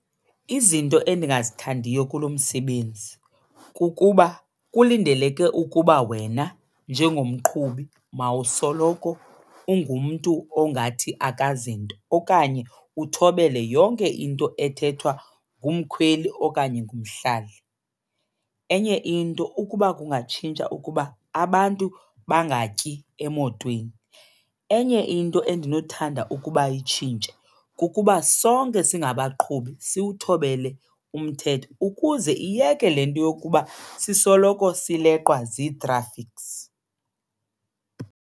Izinto endingazithandiyo kulo msebenzi kukuba kulindeleke ukuba wena njengomqhubi mawusoloko ungumntu ongathi akazinto okanye uthobele yonke into ethethwa ngumkhweli okanye ngumhlali. Enye into ukuba kungatshintsha ukuba abantu bangatyeli emotweni. Enye into endinothanda ukuba itshintshe kukuba sonke singabaqhubi siwuthobele umthetho ukuze iyeke le nto yokuba sisoloko sileqwa zii-traffics.